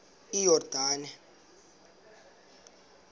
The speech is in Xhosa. iyordane